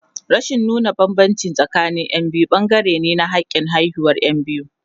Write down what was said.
Rashin nuna bambanci tsakanin Yan biyu bangare ne na hakin haihuwar Yan biyu.